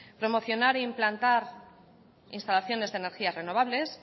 promocionar e implantar instalaciones de energías renovables